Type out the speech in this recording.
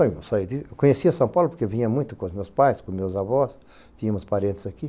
Eu conheci a São Paulo porque eu vinha muito com meus pais, com meus avós, tínhamos parentes aqui.